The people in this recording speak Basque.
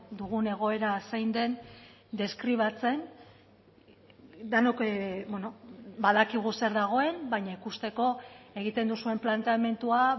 dugun egoera zein den deskribatzen denok badakigu zer dagoen baina ikusteko egiten duzuen planteamendua